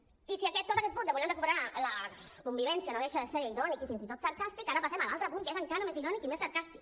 i si tot aquest punt de voler recuperar la convivència no deixa de ser irònic i fins i tot sarcàstic ara passem a l’altre punt que és encara més irònic i més sarcàstic